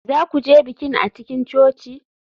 Za ku je bikin a cikin coci?